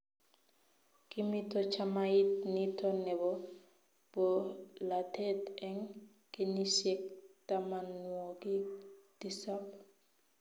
kimito chamait nito nebo bolatet eng' kenyisiek tamanwokik tisap